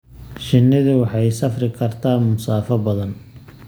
Shinnidu waxay safri kartaa masaafo badan.